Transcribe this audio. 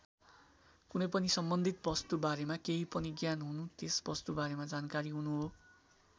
कुनै पनि सम्बन्धित वस्तु बारेमा केही पनि ज्ञान हुनु त्यस वस्तु बारेमा जानकारी हुनु हो।